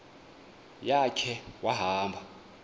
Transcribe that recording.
ya khe wahamba